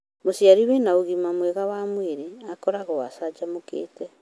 mûciari wĩna ũgima mwega wa mwĩrĩ akoragwo acajamũkĩte